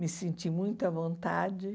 Me senti muito à vontade.